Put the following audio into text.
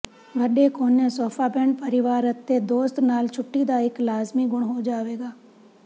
ਵੱਡੇ ਕੋਨੇ ਸੋਫਾਬੈੱਡ ਪਰਿਵਾਰ ਅਤੇ ਦੋਸਤ ਨਾਲ ਛੁੱਟੀ ਦਾ ਇੱਕ ਲਾਜ਼ਮੀ ਗੁਣ ਹੋ ਜਾਵੇਗਾ